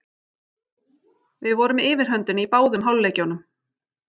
Við vorum með yfirhöndina í báðum hálfleikjunum.